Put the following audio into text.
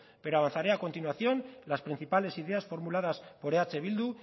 pero avanzaré a continuación las principales ideas formuladas por eh bildu